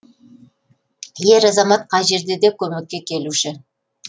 ер азамат қай жерде де көмекке келуші